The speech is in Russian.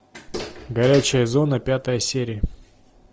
горячая зона пятая серия